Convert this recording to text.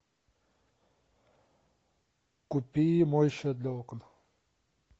купи моющее для окон